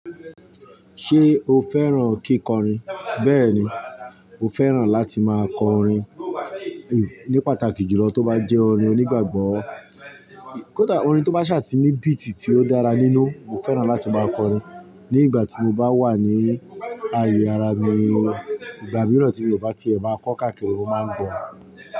Ṣé o fẹ́ràn kíkọrin? Bẹ́ẹ̀ni, mo fẹ́ràn láti máa kọ orin, ní pàtàkì jùlọ tó bá jẹ́ orin onígbàgbọ́, orin tó bá ṣà ti ní beat tí ó dára nínú, mo fẹ́ràn láti máa kọ orin. Ní ìgbà tí mo bá wà ní ayé ara mi, ìgbà mìíràn tí mo bá ti ẹ̀ máa kọ káàkiri mo máa ń gbọ̀.